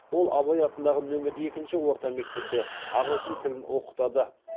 ол абай атындағы нөмір екінші орта мектепте ағылшын тілін оқытады